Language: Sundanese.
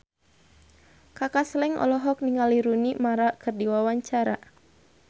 Kaka Slank olohok ningali Rooney Mara keur diwawancara